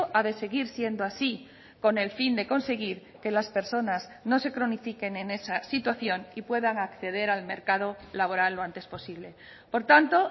ha de seguir siendo así con el fin de conseguir que las personas no se cronifiquen en esa situación y puedan acceder al mercado laboral lo antes posible por tanto